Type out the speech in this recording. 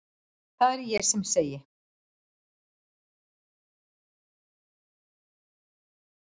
Það er sem ég segi.